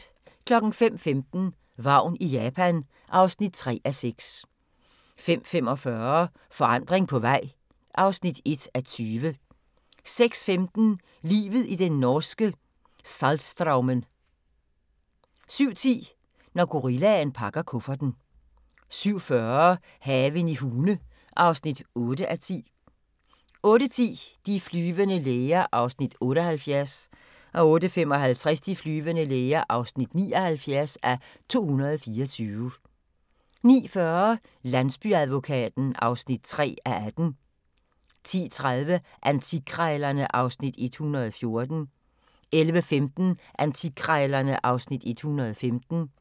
05:15: Vagn i Japan (3:6) 05:45: Forandring på vej (1:20) 06:15: Livet i den norske Saltstraumen 07:10: Når gorillaen pakker kufferten 07:40: Haven i Hune (8:10) 08:10: De flyvende læger (78:224) 08:55: De flyvende læger (79:224) 09:40: Landsbyadvokaten (3:18) 10:30: Antikkrejlerne (Afs. 114) 11:15: Antikkrejlerne (Afs. 115)